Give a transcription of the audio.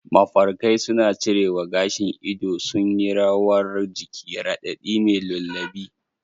Mafarkai suna cirewa, gashin ido sun yi rawar jiki, radadi mai lullaby